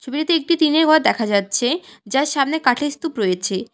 ছবিটিতে একটি টিনের ঘর দেখা যাচ্ছে যার সামনে কাঠের স্তূপ রয়েছে।